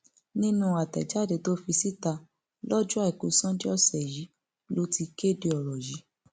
nínú àtẹjáde tó fi síta lọjọ àìkú sanńdé ọsẹ yìí ló ti kéde ọrọ yìí